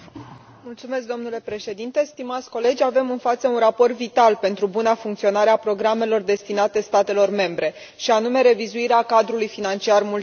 Domnule președinte, avem în față un raport vital pentru buna funcționare a programelor destinate statelor membre, și anume revizuirea cadrului financiar multianual.